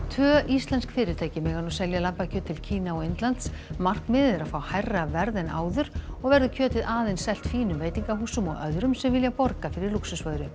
tvö íslensk fyrirtæki mega nú selja lambakjöt til Kína og Indlands markmiðið er að fá hærra verð en áður og verður kjötið aðeins selt fínum veitingahúsum og öðrum sem vilja borga fyrir lúxusvöru